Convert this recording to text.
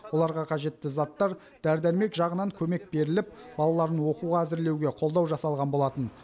оларға қажетті заттар дәрі дәрмек жағынан көмек беріліп балаларын оқуға әзірлеуге қолдау жасалған болатын